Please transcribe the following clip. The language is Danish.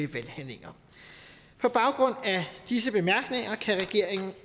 valghandlinger på baggrund af disse bemærkninger kan regeringen